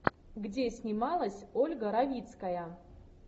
где снималась ольга равицкая